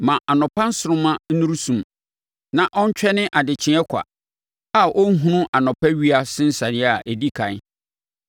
Ma nʼanɔpa nsoromma nnuru sum; na ɔntwɛne adekyeeɛ kwa a ɔnhunu anɔpa owia nsensaneɛ a ɛdi ɛkan,